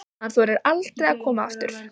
Hann þorir aldrei að koma aftur.